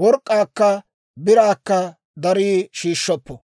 Work'k'aakka biraakka darii shiishshoppo.